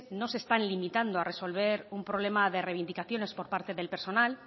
no se están limitando a resolver un problema de reivindicaciones por parte del personal